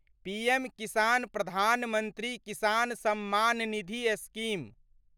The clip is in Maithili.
PM Kisan Pradhan Mantri Kisan Samman Nidhi scheme